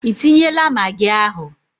Ị tinyela magị ahu?